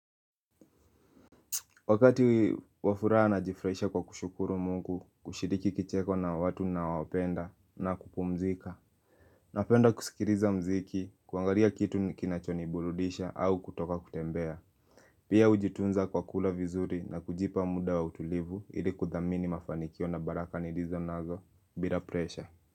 Wakati wa furaha najifurahisha kwa kushukuru mungu kushiriki kicheko na watu ninao wapenda na kupumzika napenda kusikiriza mziki, kuangaria kitu kinachonibuludisha au kutoka kutembea Pia hujitunza kwa kula vizuri na kujipa muda wa utulivu ili kudhamini mafanikio na baraka nilizo nazo bila presha.